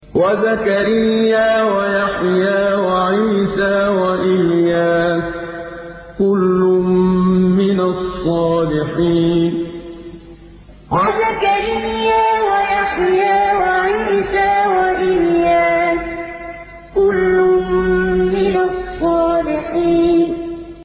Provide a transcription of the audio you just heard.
وَزَكَرِيَّا وَيَحْيَىٰ وَعِيسَىٰ وَإِلْيَاسَ ۖ كُلٌّ مِّنَ الصَّالِحِينَ وَزَكَرِيَّا وَيَحْيَىٰ وَعِيسَىٰ وَإِلْيَاسَ ۖ كُلٌّ مِّنَ الصَّالِحِينَ